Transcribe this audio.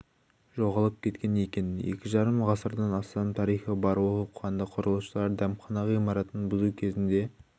жоғалып кеткен екен екі жарым ғасырдан астам тарихы бар оқпанды құрылысшылар дәмхана ғимаратын бұзу кезінде